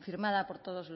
firmada por todos